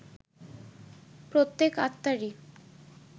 প্রত্যেক আত্মারই